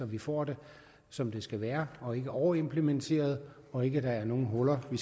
vi får det som det skal være og ikke overimplementerer og ikke er nogen huller vi